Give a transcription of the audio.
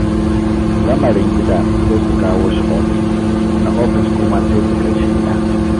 Lamarin gida sai su kawo shi ofis, na ofis kuma su kai shi gida.